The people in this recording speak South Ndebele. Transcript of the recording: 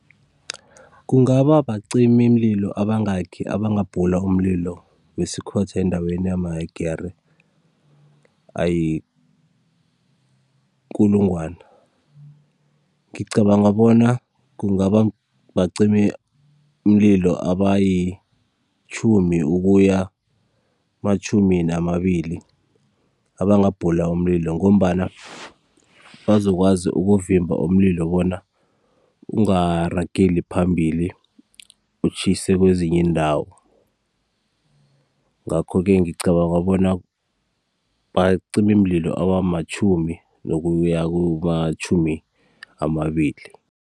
Kungaba bacimimlilo abangaki abangabhula umlilo wesikhotha endaweni amahegere ayikulungwana? Ngicabanga bona kunga bacimimlilo abayitjhumi ukuya matjhumi namabili abangabhula umlilo ngombana bazokwazi ukuvimba umlilo bona ungarageli phambili utjhise kwezinye iindawo. Ngakho-ke, ngicabanga bona bacimimlilo abamatjhumi nokuya kumatjhumi amabili.